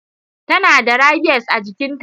tana da rabies a jikinta.